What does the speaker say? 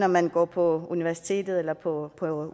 man går på universitetet eller på